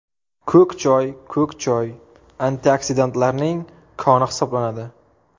Ko‘k choy Ko‘k choy antioksidantlarning koni hisoblanadi.